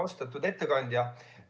Austatud ettekandja!